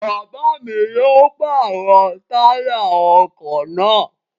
Bàbá yoo pàrọ̀ táyà ọkọ̀ naa